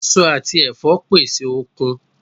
Èso àti ẹ̀fọ́ pèsè okun